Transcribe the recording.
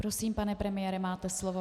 Prosím, pane premiére, máte slovo.